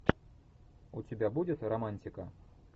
у тебя будет романтика